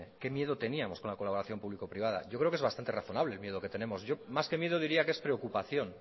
que qué miedo teníamos con la colaboración público privada yo creo que es bastante razonable el miedo que tenemos yo más que miedo diría que es preocupación